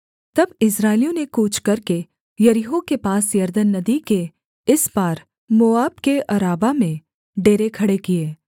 तब इस्राएलियों ने कूच करके यरीहो के पास यरदन नदी के इस पार मोआब के अराबा में डेरे खड़े किए